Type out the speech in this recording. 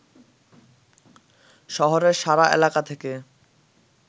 শহরের সাড়া এলাকা থেকে